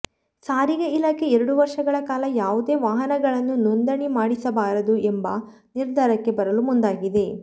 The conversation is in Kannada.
ಸಾರಿಗೆ ಇಲಾಖೆ ಎರಡು ವರ್ಷಗಳ ಕಾಲ ಯಾವುದೇ ವಾಹನಗಳನ್ನು ನೋಂದಣಿ ಮಾಡಿಸಬಾರದು ಎಂಬ ನಿರ್ಧಾರಕ್ಕೆ ಬರಲು ಮುಂದಾಗಿದೆ